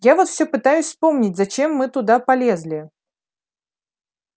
я вот все пытаюсь вспомнить зачем мы туда полезли